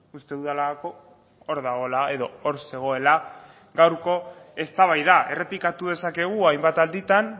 uste dudalako hor dagoela edo hor zegoela gaurko eztabaida errepikatu dezakegu hainbat alditan